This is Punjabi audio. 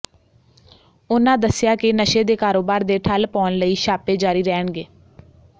ਉਨ੍ਹਾਂ ਦੱਸਿਆ ਕਿ ਨਸ਼ੇ ਦੇ ਕਾਰੋਬਾਰ ਦੇ ਠੱਲ ਪਾਉਣ ਲਈ ਛਾਪੇ ਜ਼ਾਰੀ ਰਹਿਣਗੇ